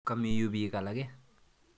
Kami yu piik alake.